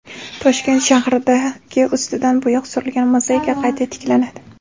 Toshkent shahridagi ustidan bo‘yoq surilgan mozaika qayta tiklanadi.